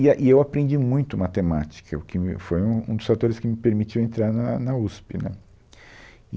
E e eu aprendi muito matemática, o que me foi um um dos fatores que me permitiu entrar na na USP, né?